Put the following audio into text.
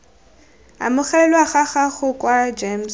amogelwa ga gago kwa gems